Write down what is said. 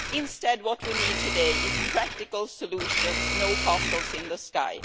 Instead, what we need today are practical solutions, not castles in the sky.